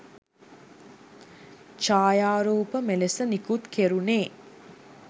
ඡායාරූප මෙලෙස නිකුත් කෙරුනේ